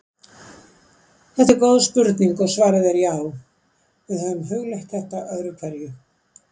Þetta er góð spurning og svarið er já: Við höfum hugleitt þetta öðru hverju.